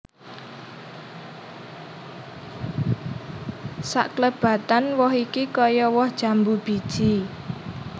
Saklebatan who iki kaya woh jambu biji